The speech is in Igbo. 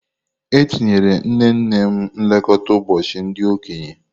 Etinyere nnenne m nlekọta ụbọchị ndị okenye.